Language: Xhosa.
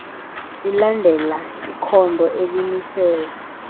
lilandela ikhondo elimisela